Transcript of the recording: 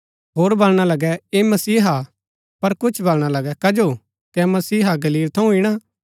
होर वलणा लगै ऐह मसीहा हा पर कुछ वलणा लगै कजो कै मसीहा गलील थऊँ ईणा